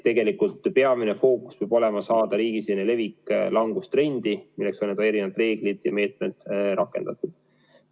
Tegelikult peamine fookus peab olema saada riigisisene levik langustrendi, milleks ongi erinevad reeglid ja meetmed rakendatud.